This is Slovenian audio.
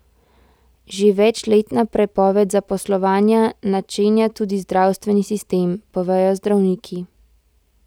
Že večletna prepoved zaposlovanja načenja tudi zdravstveni sistem, povejo zdravniki.